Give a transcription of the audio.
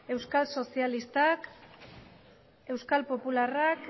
euskal sozialistak euskal popularrak